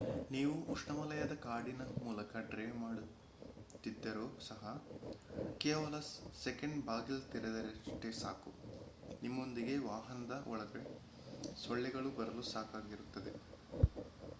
ನೀವು ಉಪೋಷ್ಣವಲಯದ ಕಾಡಿನ ಮೂಲಕ ಡ್ರೈವ್ ಮಾಡುತ್ತಿದ್ದರೂ ಸಹ ಕೆಲವು ಸೆಕೆಂಡ್ ಬಾಗಿಲು ತೆಗೆದರಷ್ಟೆ ಸಾಕು ನಿಮ್ಮೊಂದಿಗೆ ವಾಹದ ಒಳಗೆ ಸೊಳ್ಳೆಗಳು ಬರಲು ಸಾಕಾಗಿರುತ್ತದೆ